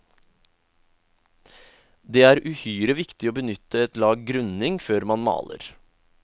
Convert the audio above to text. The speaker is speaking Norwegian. Det er uhyre viktig å benytte et lag grunning før man maler.